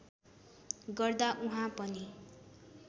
गर्दा उहाँ पनि